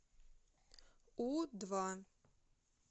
у два